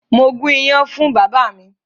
Mo gún iyán fún bàbá mi.